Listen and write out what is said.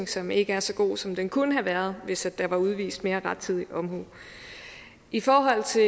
som ikke er så god som den kunne have været hvis der var udvist mere rettidig omhu i forhold til